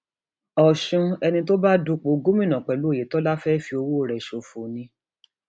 ọsùn ẹni tó tó bá dúpọ gómìnà pẹlú ọyétọlá fẹẹ fi ọwọ rẹ ṣòfò ni